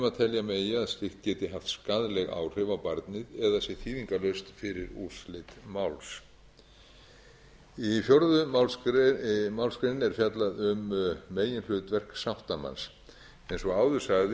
nema telja megi að slíkt geti haft skaðleg áhrif á barnið eða sé þýðingarlaust fyrir úrslit máls í fjórðu málsgrein er fjallað um meginhlutverk sáttamanns eins og áður sagði